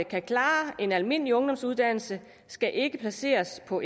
kan klare en almindelig ungdomsuddannelse skal ikke placeres på